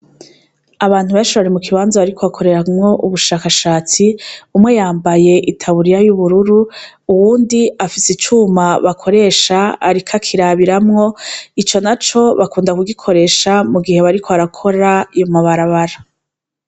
Abantu benshi bari mu kibanza bariko bakoreramwo ubushakashatsi, umwe yambaye itaburiya y'ubururu uwundi afise icuma bakoresha ariko akirabiramwo, ico naco bakunda kugikoresha mu gihe bariko barakora amabarabara.